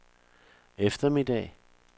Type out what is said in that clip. eftermiddag